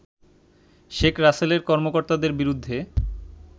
শেখ রাসেলের কর্মকর্তাদের বিরুদ্ধে